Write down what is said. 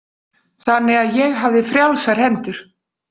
Þannig að ég hafði frjálsar hendur.